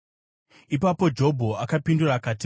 Ipapo Jobho akapindura akati: